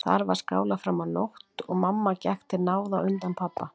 Þar var skálað fram á nótt og mamma gekk til náða á undan pabba.